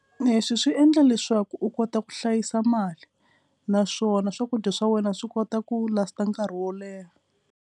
Leswi swi endla leswaku u kota ku hlayisa mali naswona swakudya swa wena swi kota ku last-a nkarhi wo leha.